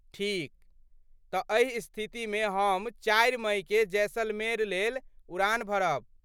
ठीक, तँ एहि स्थितिमे हम चारि मइकेँ जैसलमेर लेल उड़ान भरब।